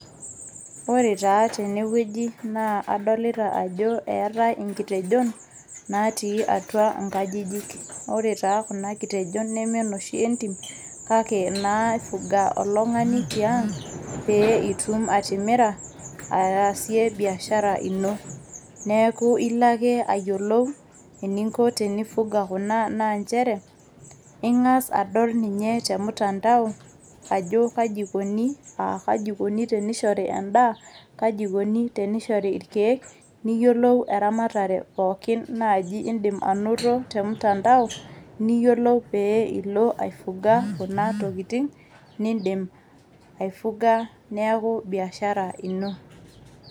Ore taa tenewueji adolita ajo etae nkitejon natii atua nkajijik. Ore taa kuna kitejon neme inoshi entim kake inaifuga oltung'ani tiang' pee itum atimira aasie biashara ino. Neeku ilo ake ayiolou eningo tenifuga naa nchere ing'as adol ninye te mtandao ajo kaji ikoni, ajo kaji eikoni tenishori endaa, kaji ikoni tenishori irkieek, niyiolou eramatare pookin nindim naji anoto te mtandao, niyiolou pee ilo aifuga, kuna tokitin nindim aifuga niaku biashara ino.